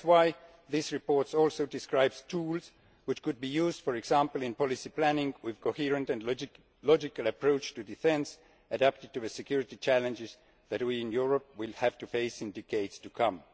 That is why this report also describes tools which could be used, for example, in policy planning, with a coherent and logical approach to defence adapted to security challenges that we in Europe will have to face in decades to come.